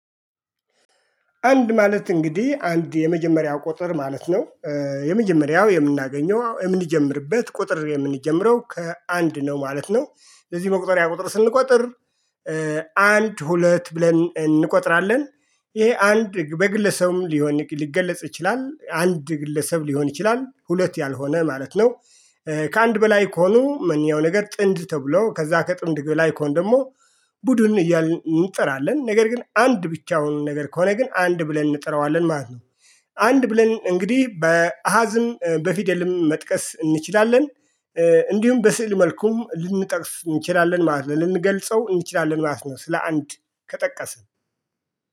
አንድ ማለት እንግዲህ አንድ የመጀመሪያው ቁጥር ማለት ነው። የመጀመሪያው የምናገኘው የምንጀምርበት ቁጥር የምንጀምረው ከአንድ ነው ማለት ነው ለዚህ መቁጠሪያ ቁጥር ስንቆጥር። አንድ ሁለት ብለን እንቆጥራለን። ይሄ አንድ በግለሰብም ሊሆን ሊገለጽ ይችላል አንድ ግለሰብ ሊሆን ይችላል ሁለት ያልሆነ ማለት ነው። ከአንድ በላይ ከሆኑ ማንኛያውም ነገር ጥንድ ተብሎ ከዛ ከጥንድ በላይ ከሆኑ ደግሞ። ቡድን እያልን እንጥራለን ነገር ግን አንድ ብቻውን ነገር ከሆነ ግን አንድ ብለን እንጥረዋለን ማለት ነው። አንድ ብለን እንግዲህ በአሃዝም በፊደልም መጥቀስ እንችላለን። እንዲሁም በስዕል መልኩም ልንጠቅስ እንችላለን ማለት ነው ልንገልጸው እንችላለን ማለት ነው። ስለ አንድ ከጠቀስን